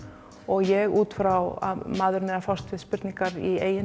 ég út frá að maðurinn er að fást við spurningar í eigin